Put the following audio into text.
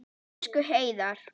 Elsku Heiðar.